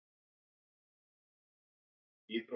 Rödd móður hans reif hann upp úr þessum hugsunum.